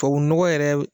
Tubabu nɔgɔ yɛrɛ